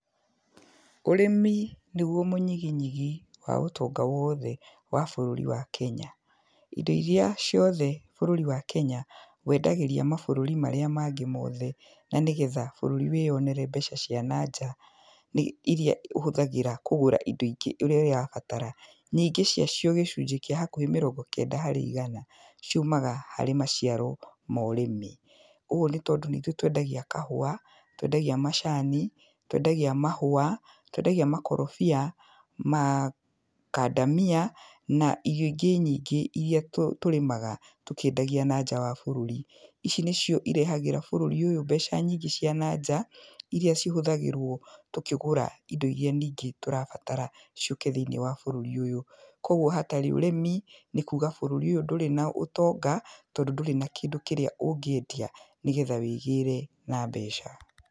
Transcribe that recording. Ũrĩmi nĩgwo mũnyiginyigi wa ũtonga wothe wa bũrũri wa Kenya. Indo iria ciothe bũrũri wa Kenya wendagĩria mabũrũri marĩa mangĩ mothe na nĩgetha bũrũri wĩyonere mbeca cia nanja, nĩ, iria ũhũthagĩra kũgũra indo ingĩ ũrĩa irabatara, nyingĩ cia cio gĩcunjĩ kĩa hakuhĩ mĩrongo kenda harĩ igana ciumaga harĩ maciaro ma ũrĩmi. Ũgwo nĩ tondũ nĩ ithuĩ twendagia kahũa, twendagia macani, twendagia mahũa, twendagia makorobia, makandamia na irio ingĩ nyingĩ iria tũ, tũrĩmaga tũkĩendagia nanja wa bũrũri. Ici nĩcio irehagĩra bũrũri ũyũ mbeca nyingĩ cia nanja, iria cihũthagĩrwo tũkĩgũra indo iria ningĩ tũrabatara ciũke thĩiniĩ wa bũrũri ũyũ. Kogwo hatarĩ ũrĩmi nĩ kuga bũrũri ũyũ ndũrĩ na ũtonga, tondũ ndũrĩ na kĩndũ kĩrĩa ũngĩendia nĩgetha wĩgĩre na mbeca.